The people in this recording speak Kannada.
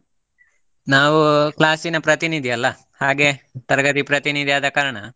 ನಾವು class ನ ಪ್ರತಿನಿದಿ ಅಲ್ಲ, ಹಾಗೆ ತರಗತಿ ಪ್ರತಿನಿದಿ ಆದ ಕಾರಣ.